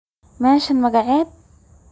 Meshan magacedha??